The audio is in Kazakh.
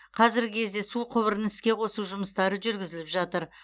қазіргі кезде су құбырын іске қосу жұмыстары жүргізіліп жатыр